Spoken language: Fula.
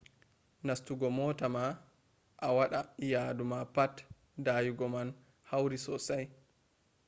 nastugo mota ma a waɗa yadu ma pat dayugo man hauri sosai